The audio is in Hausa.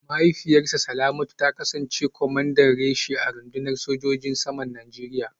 Mahaifiyar Salamatu ta kasance kwamandan reshe a rundunar sojojin saman Najeriya